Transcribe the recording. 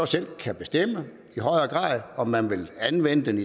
selv kan bestemme om man vil anvende